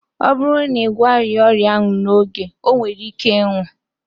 Ọ bụrụ na ị gwọghị ya ọrịa n'oge, o nwere ike ịnwụ